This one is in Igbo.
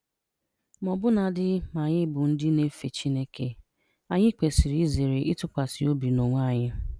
Ma ọbụnadị ma anyị bụ ndị na-efe Chineke, anyị kwesiri izere ịtụkwasị obi n'onwe anyị.